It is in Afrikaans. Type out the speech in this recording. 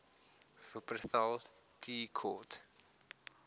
wupperthal tea court